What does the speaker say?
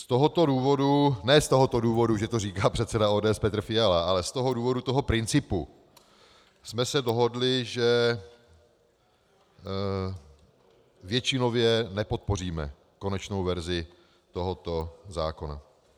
Z tohoto důvodu, ne z tohoto důvodu, že to říká předseda ODS Petr Fiala, ale z toho důvodu toho principu jsme se dohodli, že většinově nepodpoříme konečnou verzi tohoto zákona.